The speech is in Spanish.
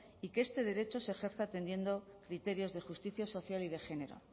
y que este derecho se ejerza atendiendo criterios de justicia social y de género